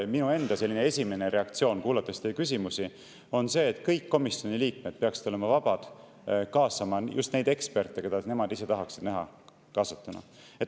Ja minu enda esimene reaktsioon, kuulates teie küsimusi, on see, et kõik komisjoni liikmed peaksid olema vabad kaasama just neid eksperte, keda nemad ise tahaksid näha kaasatuna.